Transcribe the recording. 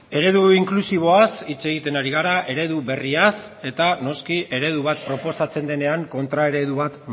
eredu inklusiboaz hitz egiten ari gara eredu berriaz eta noski eredu bat proposatzen denean kontra eredu bat